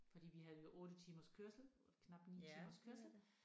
Fordi vi havde jo 8 timers kørsel knap 9 timers kørsel